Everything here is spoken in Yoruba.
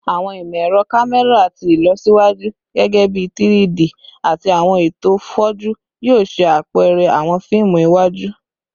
Awọn imọ-ẹrọ kamẹra ti ilọsiwaju, gẹgẹbi 3-D ati awọn eto foju, yoo ṣe apẹrẹ awọn fiimu iwaju